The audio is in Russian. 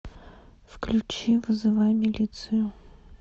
включи вызывай милицию